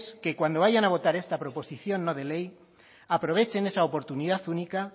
que cuando vayan a pedir esta proposición no de ley aprovechen esa oportunidad única